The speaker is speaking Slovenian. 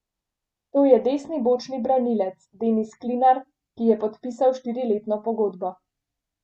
To je desni bočni branilec Denis Klinar, ki je podpisal štiriletno pogodbo.